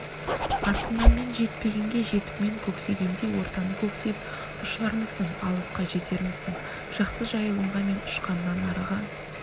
артымнан мен жетпегенге жетіп мен көксегендей ортаны көксеп ұшармысың алысқа жетермісің жақсы жайылымға мен ұшқаннан арыға